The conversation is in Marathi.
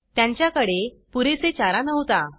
त्यांच्या कडे पुरेसे चारा नव्हता